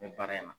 N bɛ baara in na